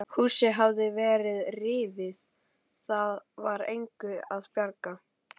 Húsið hafði verið rifið, það var engu að bjarga.